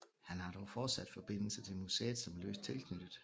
Han har dog fortsat forbindelse til museet som løst tilknyttet